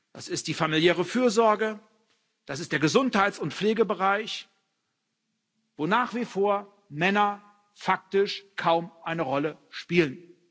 Das ist die familiäre Fürsorge, das ist der Gesundheits und Pflegebereich, wo Männer nach wie vor faktisch kaum eine Rolle spielen.